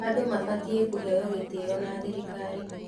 Andũ mabatiĩ kũheo gĩtĩo na thirikari.